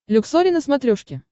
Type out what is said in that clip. люксори на смотрешке